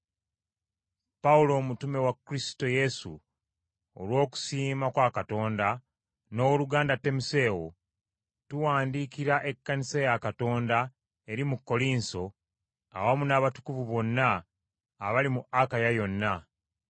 Pawulo omutume wa Kristo Yesu, olw’okusiima kwa Katonda, n’owooluganda Timoseewo, tuwandiikira ekkanisa ya Katonda eri mu Kkolinso awamu n’abatukuvu bonna abali mu Akaya yonna,